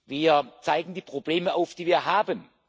Wir zeigen die Probleme auf, die wir haben.